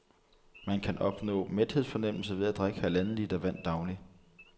Man kan opnå mæthedsfornemmelse ved at drikke halvanden liter vand daglig.